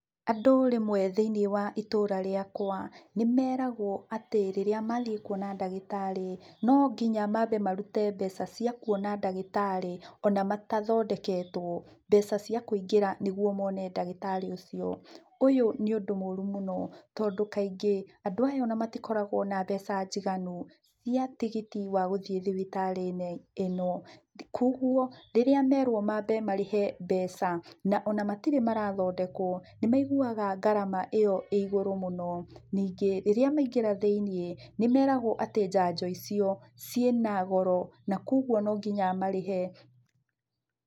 Andũ rĩmwe thĩiniĩ wa itũra rĩakũa, nĩmeragũoatĩ rĩrĩa mathiĩ kuona ndagĩtarĩ, no nginya mambe marute mbeca cia kuona ndagĩtarĩ, ona matathondeketũo, mbeca cia kũingĩra nĩguo mone ndagĩtarĩ ũcio. Ũyũ nĩ ũndũ mũru mũno, tondũ kaingĩ, andũ aya ona matikoragũo na mbeca njiganu, cia tigiti wa gũthiĩ thibitarĩ-inĩ ino, kuoguo rĩrĩa merwo mambe marĩhe mbeca, na ona matirĩ marathondekũo, nĩ maiguaga ngarama ĩyo ĩ igũrũ mũno. Ningĩ, rĩrĩa maingĩra thĩiniĩ, nĩmeragũo atĩ njanjo icio, ciĩ na goro, na kuoguo no nginya marĩhe.